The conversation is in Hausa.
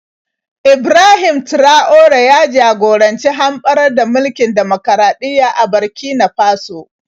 Ibrahim Traore ya jagoranci hamɓarar da mulkin dimokuraɗiyya a Burkina Faso.